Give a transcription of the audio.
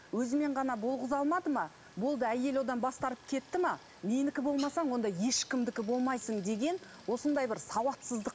өзімен ғана болғыза алмады ма болды әйел одан бас тартып кетті ме менікі болмасаң онда ешкімдікі болмайсың деген осындай бір сауатсыздық